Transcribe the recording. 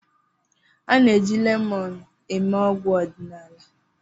A na-eji lemọnụ eme ọgwụ ọdịnala.